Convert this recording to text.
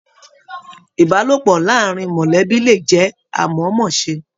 Ìbálòpọ̀ láàrín mọlẹbi le jẹ amọmọse.